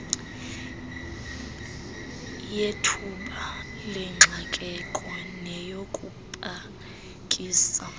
yethuba lengxakeko neyokupakisa